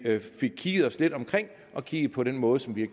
fik kigget os lidt omkring og kigget på den måde som vi